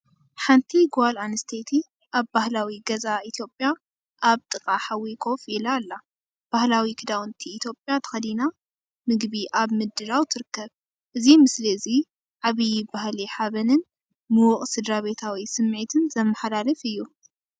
ሓንቲ ጓል ኣንስተይቲ ኣብ ባህላዊ ገዛ ኢትዮጵያ ኣብ ጥቓ ሓዊ ኮፍ ኢላ። ባህላዊ ክዳውንቲ ኢትዮጵያ ተኸዲና ምግቢ ኣብ ምድላው ትርከብ። እዚ ምስሊ እዚ ዓብይ ባህላዊ ሓበንን ምዉቕ ስድራቤታዊ ስምዒትን ዘመሓላልፍ እዩ!